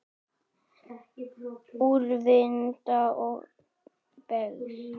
Úrvinda og beygð.